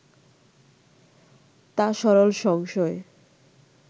তা সরল সংশয়